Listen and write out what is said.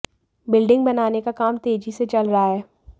building बनाने का काम तेजी से चल रहा है